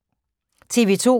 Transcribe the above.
TV 2